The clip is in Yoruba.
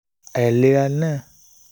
àìlera náà